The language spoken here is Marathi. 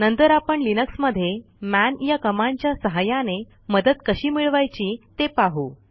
नंतर आपण लिनक्समध्ये मन या कमांडच्या सहाय्याने मदत कशी मिळवायची ते पाहू